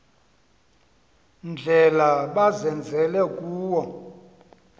ndlela bazenzele kuwo